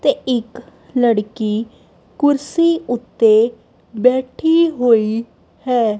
ਤੇ ਇੱਕ ਲੜਕੀ ਕੁਰਸੀ ਓੱਤੇ ਬੈਠੀ ਹੋਈ ਹੈ।